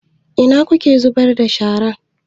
A ina kuke zubar da shara?